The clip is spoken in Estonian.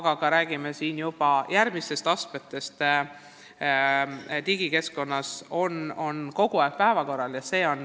Ja me räägime juba järgmistest astmetest digikeskkonnas – see on kogu aeg päevakorral.